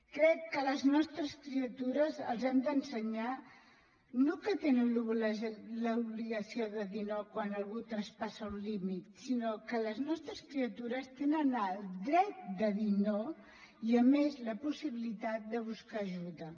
crec que a les nostres criatures els hem d’ensenyar no que tenen l’obligació de dir no quan algun traspassa un límit sinó que les nostres criatures tenen el dret de dir no i a més la possibilitat de buscar ajuda